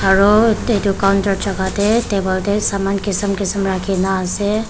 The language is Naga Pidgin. aru ete etu counter jaga teh table teh saman kism kism rakhi na ase.